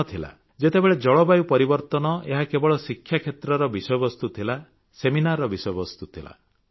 ଦିନ ଥିଲା ଯେତେବେଳେ ଜଳବାୟୁ ପରିବର୍ତ୍ତନ ଏହା କେବଳ ଶିକ୍ଷା କ୍ଷେତ୍ରରେ ବିଷୟବସ୍ତୁ ଥିଲା ସେମିନାରର ବିଷୟବସ୍ତୁ ଥିଲା